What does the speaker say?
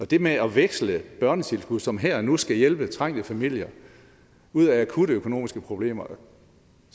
det med at veksle et børnetilskud som her og nu skal hjælpe trængte familier ud af akutte økonomiske problemer